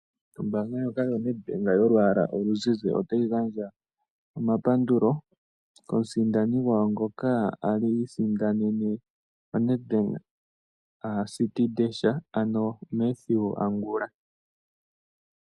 Ombaanga ndjoka yoNedbank yolwaala oluzizi otayi gandja omapandulo komusindani gwawo ngoka a li isindanene oNedbank City Dash, ano Mathew Angula .